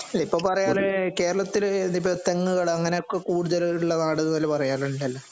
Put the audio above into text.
അല്ല ഇപ്പം പറയവല്ലോ കേരളത്തില് തെങ്ങുകള് കൂടുതലുള്ള നാട് എന്ന് പറയാറ് ഉണ്ടല്ലോ